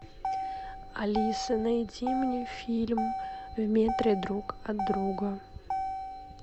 алиса найди мне фильм в метре друг от друга